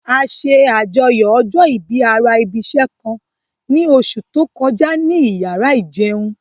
A ṣe àjọyọ̀ ọjọ́ ìbí ara ibi'ṣẹ́ kan ní oṣù tó kọjá ní iyàrá ìjẹun